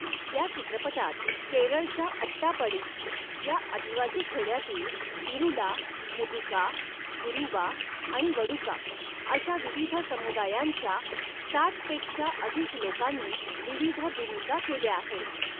या चित्रपटात, केरळच्या अट्टापड़ी या आदिवासी खेड्यातील, इरूला, मुदुका, कुरुबा आणि वडुका अशा विविध समुदायांच्या, साठपेक्षा अधिक लोकांनी विविध भूमिका केल्या आहेत.